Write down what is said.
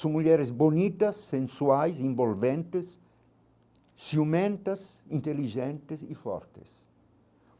São mulheres bonitas, sensuais, envolventes, ciumentas, inteligentes e fortes.